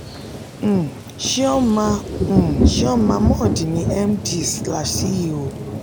um chioma um chioma mordi ni md slash ceo